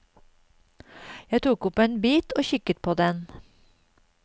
Jeg tok opp en bit og kikket på den.